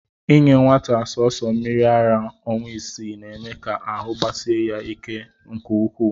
Inye nwata sọọsọ mmiri ara ọnwa isii, na-eme ka ahụ gbasie ya ike nke ukwuu